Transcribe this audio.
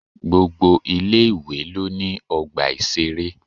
Gbogbo ilé-ìwé lo ní ọgbà ìṣeré.